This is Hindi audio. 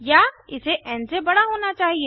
या इसे एन से बड़ा होना चाहिए